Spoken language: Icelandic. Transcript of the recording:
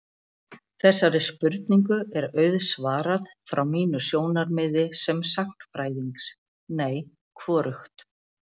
Þessari spurningu er auðsvarað frá mínu sjónarmiði sem sagnfræðings: Nei, hvorugt.